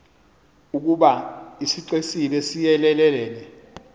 ukoba isixesibe siyelelene